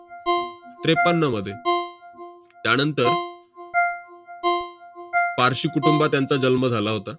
त्रेपन्नमध्ये. त्यानंतर पार्शी कुटुंबात यांचा जन्म झाला होता.